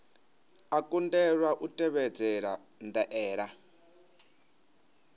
a kundelwa u tevhedzela ndaela